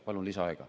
Palun lisaaega.